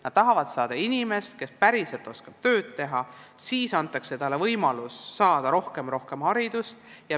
Nad tahavad saada inimest, kes päriselt oskab tööd teha, ja siis antakse talle võimalus saada rohkem haridust.